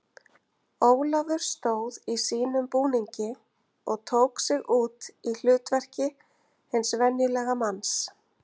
Ólafur stóð í sínum búningi og tók sig út í hlutverki hins venjulega manns.